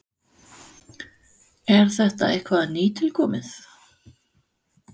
Er þetta eitthvað nýtilkomið?